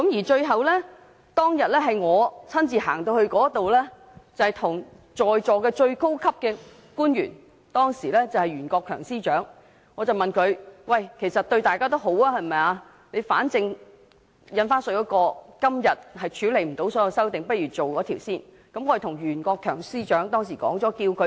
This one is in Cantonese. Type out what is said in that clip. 最後，我當日親自對在座的最高級官員袁國強司長說，其實修訂對大家都有好處，反正今天無法處理《條例草案》的所有修正案，不如先審議該規例。